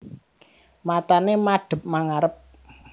Matane madhep mangarep